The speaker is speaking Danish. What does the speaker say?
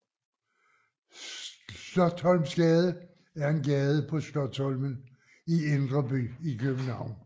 Slotsholmsgade er en gade på Slotsholmen i Indre By i København